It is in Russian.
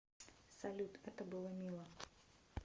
салют это было мило